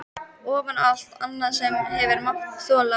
Ofan á allt annað sem þú hefur mátt þola?